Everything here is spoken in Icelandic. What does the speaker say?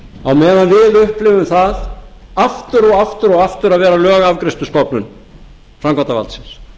á meðan við upplifum það aftur og aftur og aftur að vera lögafgreiðslustofnun framkvæmdarvaldsins